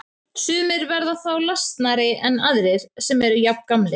Sumir verða þá lasnari en aðrir sem eru jafngamlir.